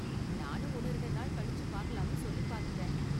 நானும் ஒன்னு ரெண்டு நாள் கழிச்சு பாக்கலாம்னு சொல்லி பாத்துட்டேன்